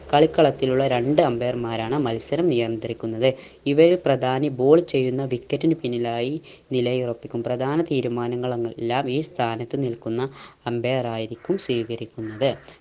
കളിക്കളത്തിലുള്ള രണ്ട്‌ umpire മാരാണ് മത്സരം നിയന്ത്രിക്കുന്നത് ഇവരിൽ പ്രധാനി ball ചെയ്യുന്ന wicket നു പിന്നിലായി നിലയുറപ്പിക്കും. പ്രധാന തീരുമാനങ്ങൾ അങ് എല്ലാം ഈ സ്ഥാനത്തു നിൽക്കുന്ന umpire ആയിരിക്കും സ്വീകരിക്കുന്നത്.